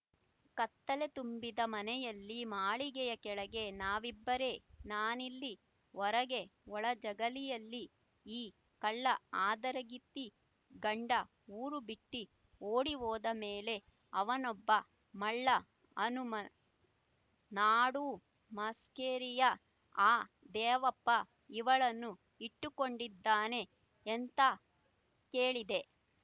ಕತ್ತಲೆ ತುಂಬಿದ ಮನೆಯಲ್ಲಿ ಮಾಳಿಗೆಯ ಕೆಳಗೆ ನಾವಿಬ್ಬರೇ ನಾನಿಲ್ಲಿ ಹೊರಗೆ ಒಳ ಜಗಲಿಯಲ್ಲಿ ಈ ಕಳ್ಳ ಹಾದರಗಿತ್ತಿ ಗಂಡ ಊರು ಬಿಟ್ಟಿ ಓಡಿ ಹೋದ ಮೇಲೆ ಅವನೊಬ್ಬ ಮಳ್ಳ ಹನುಮ ನಾಡೂ ಮಾಸ್ಕೇರಿಯ ಆ ದೇವಪ್ಪ ಇವಳನ್ನು ಇಟ್ಟುಕೊಂಡಿದ್ದಾನೆ ಎಂತ ಕೇಳಿದೆ